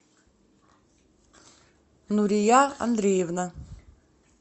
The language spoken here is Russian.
нурия андреевна